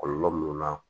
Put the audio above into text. Kɔlɔlɔ mun na